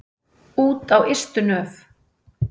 Út á ystu nöf.